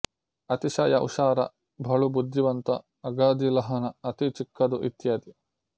ಅತಿಶಯ ಹುಶಾರ ಬಲು ಬುದ್ಧಿವಂತ ಅಗದೀ ಲಹಾನ ಅತೀ ಚಿಕ್ಕದು ಇತ್ಯಾದಿ